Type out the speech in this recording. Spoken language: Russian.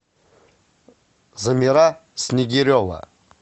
замира снегирева